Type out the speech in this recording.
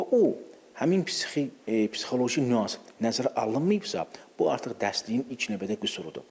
Və o həmin psix-psixoloji nüans nəzərə alınmayıbsa, bu artıq dərsliyin ilk növbədə qüsurudur.